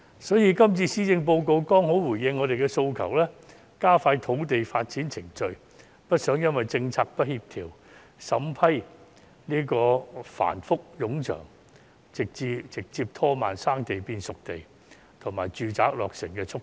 所以，今次施政報告剛好回應了我們的訴求，加快土地發展程序，我們不希望因政策不協調、審批繁複冗長而直接拖慢"生地"變"熟地"及住宅落成的速度。